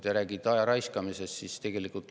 Te räägite aja raiskamisest ja süüdistate ministrit.